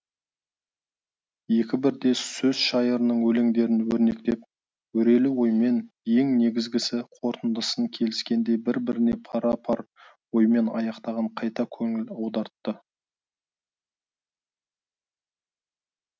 екі бірдей сөз шайырының өлеңдерін өрнектеп өрелі оймен ең негізгісі қорытындысын келіскендей бір біріне пара пар оймен аяқтаған қайта көңіл аудартты